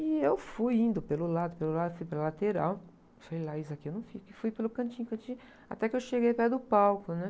E eu fui indo pelo lado, pelo lado, fui pela lateral, fui lá, falei, aqui eu não fico, e fui pelo cantinho, cantinho, até que eu cheguei perto do palco, né?